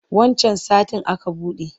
Wancan satin aka buɗe.